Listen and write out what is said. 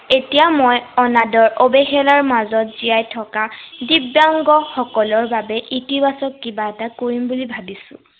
এতিয়া মই অনাদৰ অৱহেলাৰ মাজত জীয়াই থকা দিব্য়াংগসকলৰ বাবে ইতিবাচক কিবা এটা কৰিম বুলি ভাবিছো।